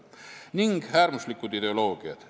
Julgeolekuprobleem on ka äärmuslikud ideoloogiad.